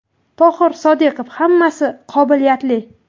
Tohir Sodiqov: Hammasi qobiliyatli.